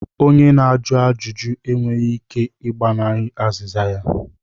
Onye na-ajụ ajụjụ e nweghị ike ị gbanahie azịza ya.